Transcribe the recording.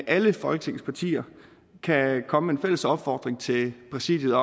alle folketingets partier kan komme med en fælles opfordring til præsidiet